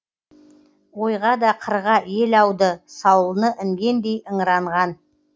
ойға да қырға ел ауды саулы інгендей ыңыранған